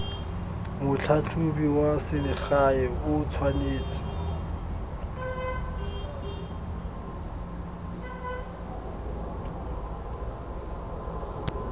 motlhatlhobi wa selegae o tshwanetse